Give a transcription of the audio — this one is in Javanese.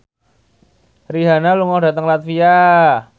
Rihanna lunga dhateng latvia